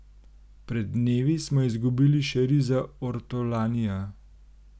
Pred dnevi smo izgubili še Riza Ortolanija.